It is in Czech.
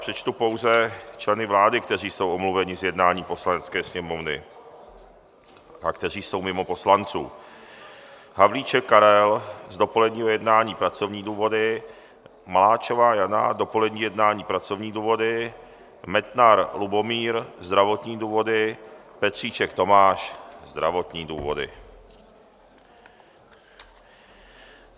Přečtu pouze členy vlády, kteří jsou omluveni z jednání Poslanecké sněmovny a kteří jsou mimo poslanců: Havlíček Karel z dopoledního jednání - pracovní důvody, Maláčová Jana dopolední jednání - pracovní důvody, Metnar Lubomír - zdravotní důvody, Petříček Tomáš - zdravotní důvody.